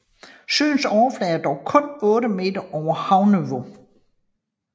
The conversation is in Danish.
Søens overflade er dog kun 8 meter over havniveau